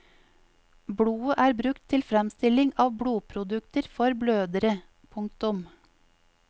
Blodet er brukt til fremstilling av blodprodukter for blødere. punktum